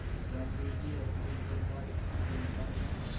गांधी की अपील पर भारत की जनता ने